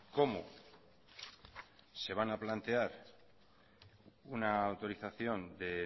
cómo se van a plantear una autorización de